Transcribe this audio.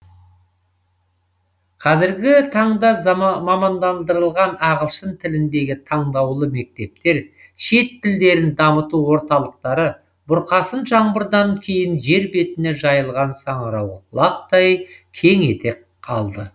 қазіргі таңда мамандандырылған ағылшын тіліндегі таңдаулы мектептер шет тілдерін дамыту орталықтары бұрқасын жаңбырдан кейін жер бетіне жайылған саңырауқұлақтай кең етек алды